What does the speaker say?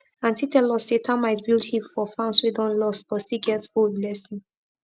aunty tell us say termite build heap for farms wey don lost but still get old blessing